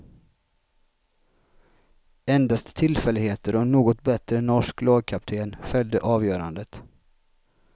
Endast tillfälligheter och en något bättre norsk lagkapten fällde avgörandet.